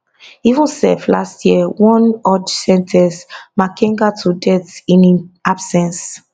even sef last year one udge sen ten ce makenga to death in im absence